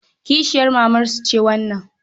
Kishiyar mamarsa ce wannan.